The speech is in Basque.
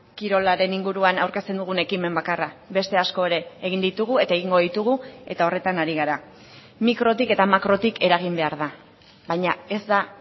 kirolaren inguruan aurkezten dugun ekimen bakarra beste asko ere egin ditugu eta egingo ditugu eta horretan ari gara mikrotik eta makrotik eragin behar da baina ez da